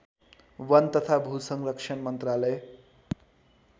वन तथा भूसंरक्षण मन्त्रालय